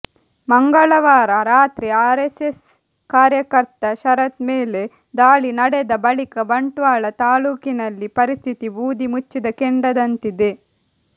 ಮಂಗಳವಾರ ರಾತ್ರಿ ಆರೆಸ್ಸೆಸ್ ಕಾರ್ಯಕರ್ತ ಶರತ್ ಮೇಲೆ ದಾಳಿ ನಡೆದ ಬಳಿಕ ಬಂಟ್ವಾಳ ತಾಲೂಕಿನಲ್ಲಿ ಪರಿಸ್ಥಿತಿ ಬೂದಿ ಮುಚ್ಚಿದ ಕೆಂಡದಂತಿದೆ